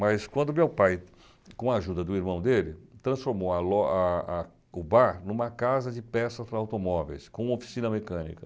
Mas quando meu pai, com a ajuda do irmão dele, transformou a lo a a o bar em uma casa de peças para automóveis, com oficina mecânica.